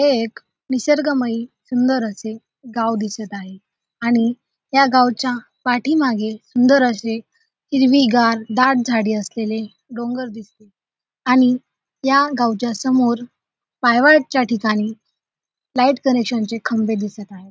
हे एक निसर्गमय सुंदर असे गाव दिसत आहे आणि या गावच्या पाठीमागे सुंदर असे हिरवीगार दाट झाडी असलेले डोंगर दिसते आणि या गावच्या समोर पायवाटच्या ठिकाणी लाईट कनेक्शन चे खंबे दिसत आहेत.